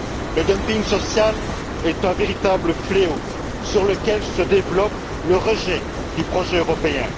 Le dumping social est un véritable fléau, sur lequel se développe le rejet du projet européen.